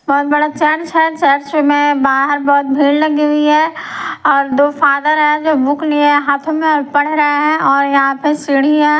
बहुत बड़ा चर्च है चर्च में बाहर बहुत भीड़ लगी हुई हैऔर दो फादर हैजो बुक लिए हाथों में और पढ़ रहे हैं और यहां पे सीढ़ी है।